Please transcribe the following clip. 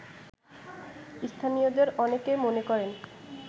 স্থানীয়দের অনেকে মনে করেন